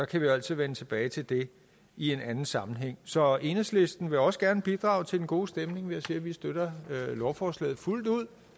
kan jo altid vende tilbage til det i anden sammenhæng så enhedslisten vil også gerne bidrage til den gode stemning ved at sige at vi støtter lovforslaget fuldt ud